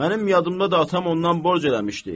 Mənim yadımda da atam ondan borc eləmişdi.